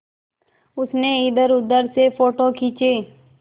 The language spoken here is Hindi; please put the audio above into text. उसने इधरउधर से फ़ोटो खींचे